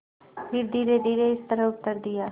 फिर धीरेधीरे इस तरह उत्तर दिया